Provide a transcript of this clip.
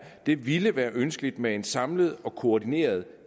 det ville være ønskeligt med en samlet og koordineret